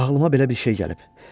Ağılıma belə bir şey gəlib.